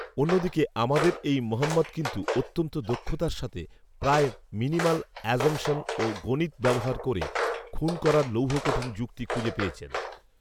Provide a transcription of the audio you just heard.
অন্যদিকে আমাদের এই মোহাম্মদ কিন্তু অত্যন্ত দক্ষতার সাথে প্রায় মিনিমাল অ্যাসাম্পশন ও গণিত ব্যবহার করে খুন করার লৌহকঠিন যুক্তি খুঁজে পেয়েছে